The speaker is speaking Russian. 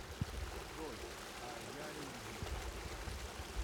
джой а я лида